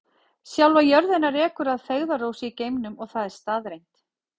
Sjálfa jörðina rekur að feigðarósi í geimnum og það er staðreynd.